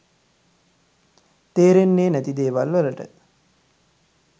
තේරෙන්නේ නැති දේවල් වලට